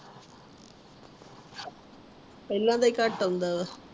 ਪਹਿਲਾ ਦਾ ਹੀ ਘੱਟ ਆਉਂਦਾ ਆ